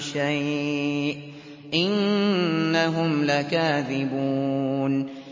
شَيْءٍ ۖ إِنَّهُمْ لَكَاذِبُونَ